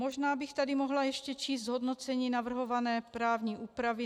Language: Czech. Možná bych tady mohla ještě číst zhodnocení navrhované právní úpravy.